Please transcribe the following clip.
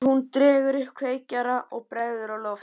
Hún dregur upp kveikjara og bregður á loft.